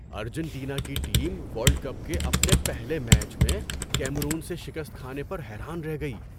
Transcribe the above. Argentina کی team world cup کے اپنے پہلے میچ میں کیمرون سے شکست کھانے پر حیران رہ گئی۔